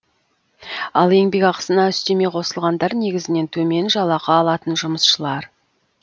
ал еңбекақысына үстеме қосылғандар негізінен төмен жалақы алатын жұмысшылар